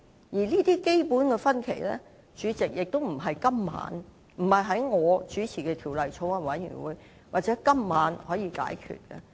而這些基本的分歧，主席，也不能由我所主持的法案委員會或在今晚可以解決。